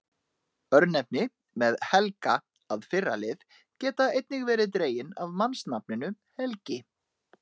Örnefni með Helga- að fyrra lið geta einnig verið dregin af mannsnafninu Helgi.